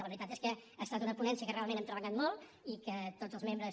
la veritat és que ha estat una ponència en què realment hem treballat molt i que tots els membres